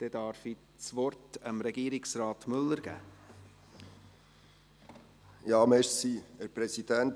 Dann gebe ich Regierungsrat Müller das Wort. .